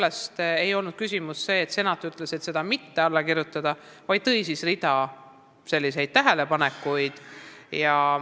Küsimus ei olnud selles, et senat oleks öelnud, et ta ei kirjuta alla, vaid tõi välja rea tähelepanekuid.